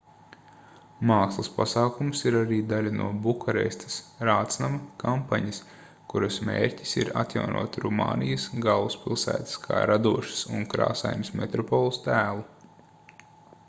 mākslas pasākums ir arī daļa no bukarestes rātsnama kampaņas kuras mērķis ir atjaunot rumānijas galvaspilsētas kā radošas un krāsainas metropoles tēlu